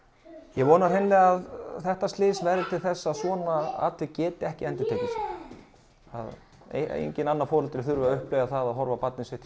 ég vona að þetta slys verði til þess að svona atvik geti ekki endurtekið sig það á ekkert foreldri að þurfa að upplifa það að horfa á barnið sitt